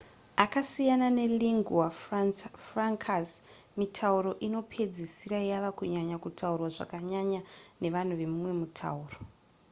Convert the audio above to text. akasiyana nelingua francas mitauro inopedzisira yava kunyanya kutaurwa zvakanyanya nevanhu vemumwe mutauro